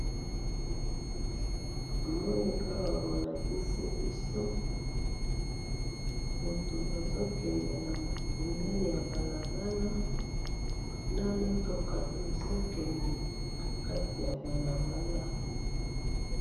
namoni awa bolakisi biso moutou azokende pembeni ya balabala na mitouka ezo kende na kati ya balabala